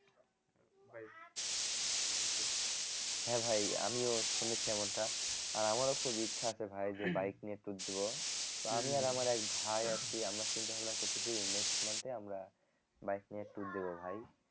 হ্যাঁ ভাই আমিও শুনেছি এমনটা আহ আমারও খুব ইচ্ছা আছে ভাই যে bike নিয়ে tour দিবো তো আমি আর আমার এক ভাই আছি আমরা চিন্তা ভাবনা করতেছি next month এ আমরা bike নিয়ে tour দিবো ভাই